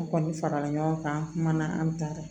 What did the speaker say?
An kɔni farala ɲɔgɔn kan an kumana an ta kan